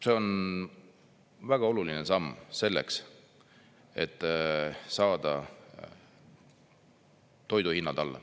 See on väga oluline samm selleks, et saada toiduhinnad alla.